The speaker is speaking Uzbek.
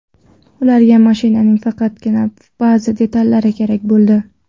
Ularga mashinaning faqatgina ba’zi detallari kerak bo‘ldi.